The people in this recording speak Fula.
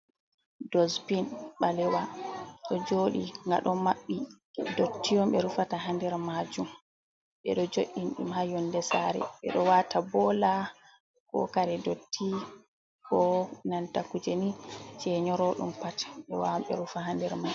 Dospin balewa do jodi ga don mabbi dotti on be rufata ha nder majum be do jo’in dum ha yonde sare be do wata bola ko kare dotti ko nanta kuje ni je nyorodum pat be wawan be rufa hander mai.